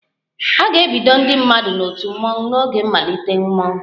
A ga-ebido ndị mmadụ n'otu mmọnwụ n'oge mmalite mmọnwụ